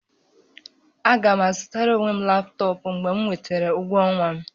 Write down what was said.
Aga m azụtara onwe m laptọọpụ mgbe m nwetara ụgwọ ọnwa m